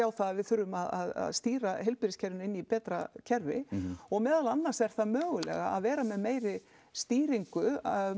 það að við þurfum að stýra heilbrigðiskerfinu inn í betra kerfi og meðal annars er það mögulega að vera með stýringu